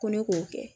Ko ne k'o kɛ